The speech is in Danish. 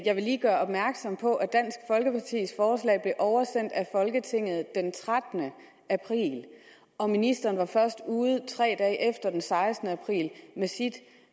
jeg vil lige gøre opmærksom på at oversendt af folketinget den trettende april og ministeren var først ude tre dage efter den sekstende april med sit